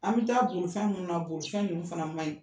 An bɛ taa bolifɛn ninnu na bolifɛn ninnu fana man ɲi.